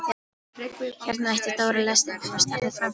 Hérna hætti Dóri lestrinum og starði fram fyrir sig.